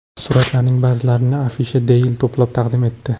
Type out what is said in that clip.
Suratlarning ba’zilarini Afisha Daily to‘plab taqdim etdi .